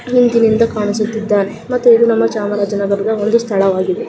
ಹಿಂದಿನಿಂದ ಕಾಣಿಸುತ್ತಿದಾನೆ ಮತ್ತು ಇದು ನಮ್ಮ ಚಾಮರಾಜನಗರದ ಒಂದು ಸ್ಥಳವಾಗಿದೆ.